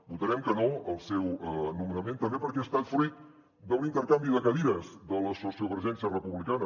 votarem que no al seu nomenament també perquè ha estat fruit d’un intercanvi de cadires de la sociovergència republicana